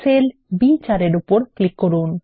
sell বি4 এর উপর ক্লিক করুন